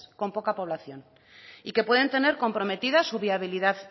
con poca población y que pueden tener comprometida su viabilidad